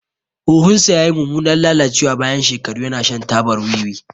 Huhunsa ya yi mummunan lalacewa bayan shekaru yana shan tabar wiwi.